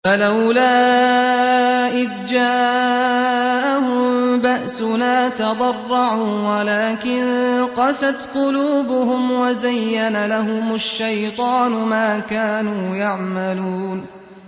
فَلَوْلَا إِذْ جَاءَهُم بَأْسُنَا تَضَرَّعُوا وَلَٰكِن قَسَتْ قُلُوبُهُمْ وَزَيَّنَ لَهُمُ الشَّيْطَانُ مَا كَانُوا يَعْمَلُونَ